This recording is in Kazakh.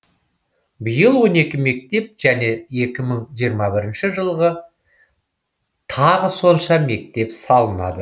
биыл он екі мектеп және екі мың жиырма бірінші жылы тағы сонша мектеп салынады